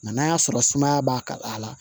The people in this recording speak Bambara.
Nka n'a y'a sɔrɔ sumaya b'a ka a la